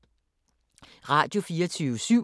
Radio24syv